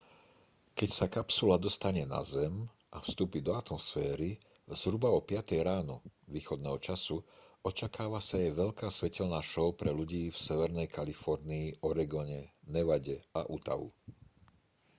keď sa kapsula dostane na zem a vstúpi do atmosféry zhruba o piatej ráno východného času očakáva sa jej veľká svetelná šou pre ľudí v severnej kalifornii oregone nevade a utahu